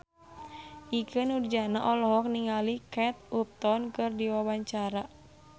Ikke Nurjanah olohok ningali Kate Upton keur diwawancara